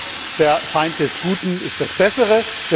Doch der Feind des Guten ist das Bessere.